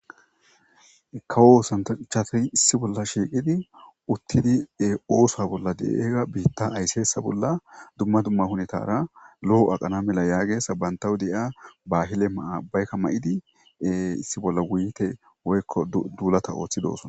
Kawo oosantachafey issi bolla shiiqidi uttidi ee oosa bolla de'ega biitta aysseesa bolla dumma dumma hunetara lo'o aqana mela yaage sabayntawu de'ia bahile maa baykka mayidi e issi bolla wuyite woyikko duulata ooththi dooson